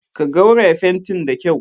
Ka rogaya fantin da kyau.